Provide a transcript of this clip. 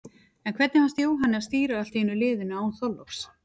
En hvernig fannst Jóhanni að stýra allt í einu liðinu, án Þorláks?